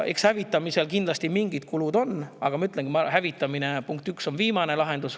Hävitamisel on kindlasti mingid kulud, aga ma ütlen, et hävitamine on viimane lahendus.